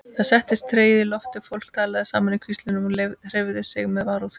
Það settist tregi í loftið, fólk talaði saman í hvíslingum og hreyfði sig með varúð.